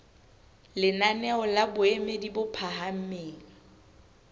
lenaneo la boemo bo phahameng